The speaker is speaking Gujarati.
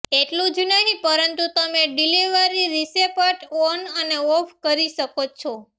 એટલું જ નહીં પરંતુ તમે ડિલિવરી રિસેપટ ઓન અને ઓફ કરી શકો છો